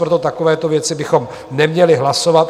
Proto takovéto věci bychom neměli hlasovat.